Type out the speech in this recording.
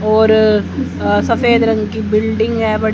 और अ सफेद रंग की बिल्डिंग है बड़ी--